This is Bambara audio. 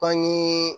Bangee